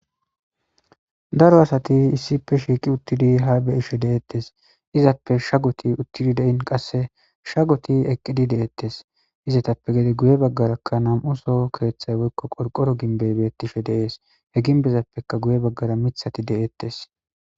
Daro asati issipe shiqi utidi ha be'ishe de'etes azape shagoti de'in qase shagoti eqidi de'etes izetappe gede guye bagaraka nam'u soho kethay woyko qorqoro gimbe betishe de'es he gimbezapekka guye bagara mithati de'etes.